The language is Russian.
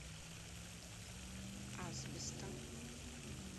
асбестом